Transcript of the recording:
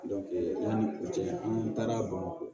yanni u cɛ n'i taara bamakɔ